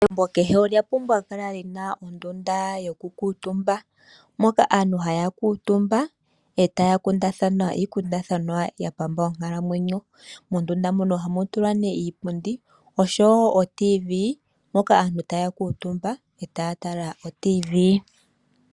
Egumbo kehe olya pumbwa kukala lina ondunda yokukuutumba, moka aantu haya kuutumba etaya kundathana iikundathanwa yapamba onkalamwenyo. Mondunda mono ohamu tulwa nee iipundi oshowo o radio yomuzizimba moka aantu taya kuutumba etaa tala oradio yomuzizimba.